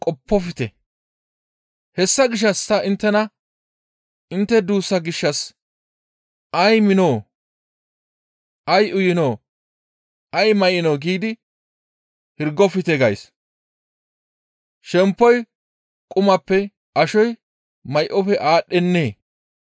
«Hessa gishshas ta inttena intte duussa gishshas, ‹Ay miinoo? Ay uyinoo? Ay may7inoo?› giidi hirgofte gays. Shemppoy qumappe, ashoy may7ofe aadhdhennee?